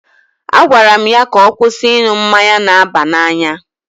A gwara ya ka ọ kwụsị ịṅụ mmanya na-aba n'anya.